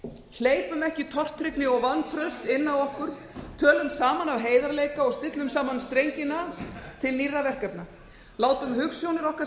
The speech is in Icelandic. hleypum ekki tortryggni og vantraust inn á okkur tölum saman af heiðarleika og stillum saman strengina til nýrra verkefna látum hugsjónir okkar sameina